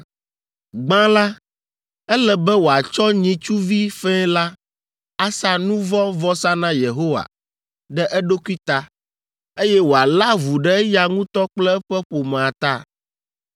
“Gbã la, ele be wòatsɔ nyitsuvi fɛ̃ la asa nu vɔ̃ vɔsa na Yehowa ɖe eɖokui ta, eye wòalé avu ɖe eya ŋutɔ kple eƒe ƒomea ta.